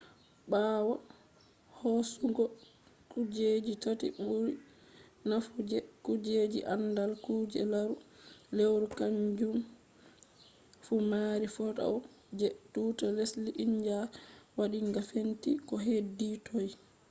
ɓawo hoosugo kujeji tati ɓuri naafu je kujeji aandal kuje larugo lewru kaanjum fu maari faoto je tuuta lesdi india waɗinga fenti ko heedi toy